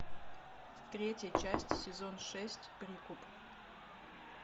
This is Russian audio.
третья часть сезон шесть прикуп